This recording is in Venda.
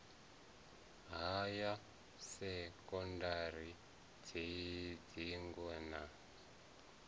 ha ya sekondari dzingo na